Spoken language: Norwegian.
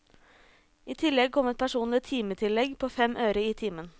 I tillegg kom et personlig timetillegg på fem øre i timen.